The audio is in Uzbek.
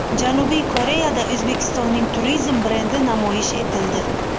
Janubiy Koreyada O‘zbekistonning turizm brendi namoyish etildi .